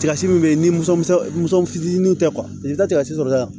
Tigasi min bɛ yen ni musɔn fitinin tɛ i tɛ taa sɔrɔta la